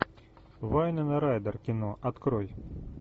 вайнона райдер кино открой